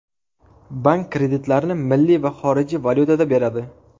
Bank kreditlarni milliy va xorijiy valyutada beradi.